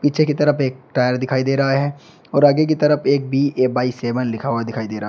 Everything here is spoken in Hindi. पीछे की तरफ एक टायर दिखाई दे रहा है और आगे की तरफ एक बी_ए बाए सेवन लिखा हुआ दिखाई दे रहा।